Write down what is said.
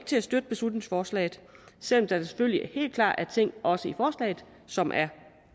til at støtte beslutningsforslaget selv om der selvfølgelig helt klart er ting også i forslaget som er